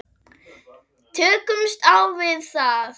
Tökumst á við það.